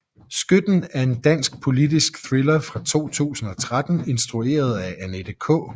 Skytten er en dansk politisk thriller fra 2013 instrueret af Annette K